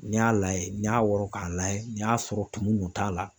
N'i y'a layɛ n'i y'a wɔrɔ k'a layɛ n'i y'a sɔrɔ tumu kun t'a la